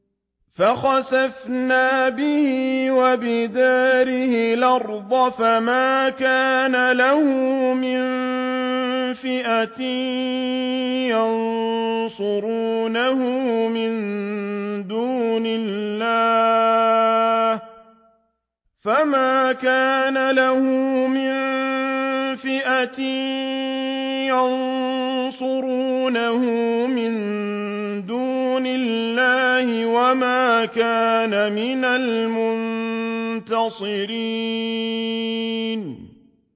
فَخَسَفْنَا بِهِ وَبِدَارِهِ الْأَرْضَ فَمَا كَانَ لَهُ مِن فِئَةٍ يَنصُرُونَهُ مِن دُونِ اللَّهِ وَمَا كَانَ مِنَ الْمُنتَصِرِينَ